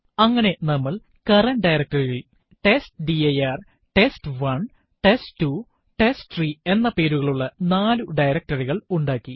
അങ്ങനെ നമ്മൾ current directory യിൽ testdirtest1test2ടെസ്റ്റ്രീ എന്ന പേരുകളുള്ള നാലു directory കൾ ഉണ്ടാക്കി